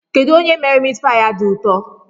Kedụ onye mere mitpaị a dị ụtọ?